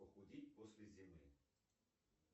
похудеть после зимы